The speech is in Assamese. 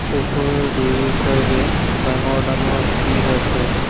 ওপৰৰ দুয়োচাইদে ডাঙৰ ডাঙৰ শিল আছে।